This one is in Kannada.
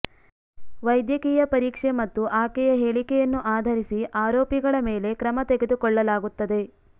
ವೈದ್ಯಕೀಯ ಪರೀಕ್ಷೆ ಮತ್ತು ಆಕೆಯ ಹೇಳಿಕೆಯನ್ನು ಆಧರಿಸಿ ಆರೋಪಿಗಳ ಮೇಲೆ ಕ್ರಮ ತೆಗೆದುಕೊಳ್ಳಲಾಗುತ್ತದೆ